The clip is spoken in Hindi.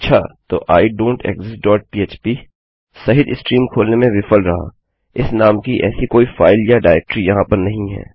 तो आइडोंटेक्सिस्ट डॉट पह्प सहित स्ट्रीम खोलने में विफल रहा इस नाम की ऐसी कोई फाइल या डाइरेक्टरी यहाँ पर नहीं है